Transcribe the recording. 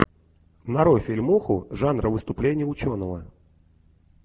нарой фильмуху жанра выступление ученого